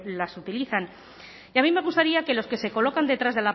las utilizan y a mí me gustaría que los que se colocan detrás